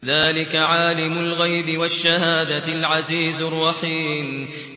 ذَٰلِكَ عَالِمُ الْغَيْبِ وَالشَّهَادَةِ الْعَزِيزُ الرَّحِيمُ